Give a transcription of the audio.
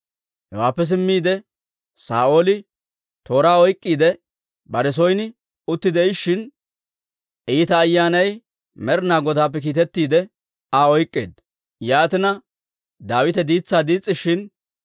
Hewaappe simmiide, Saa'ooli tooraa oyk'k'iide bare son utti de'ishshin, iita ayyaanay Med'inaa Godaappe kiitettiide Aa oyk'k'eedda. Yaatina, Daawite diitsaa diis's'ishin,